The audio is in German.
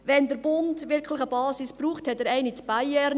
Wenn der Bund wirklich eine Basis braucht, so hat er eine in Payerne.